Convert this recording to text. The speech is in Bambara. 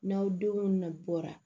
N'aw denw na bɔra